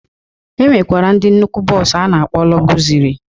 E nwekwara ndị nnukwu bọs a na-akpọ lọgụzịrị.